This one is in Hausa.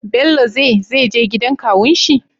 Bello ze zeje gidan kawun shi?